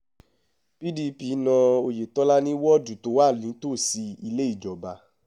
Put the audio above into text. pdp na oyetola ní wọ́ọ̀dù tó wà nítòsí ilé ìjọba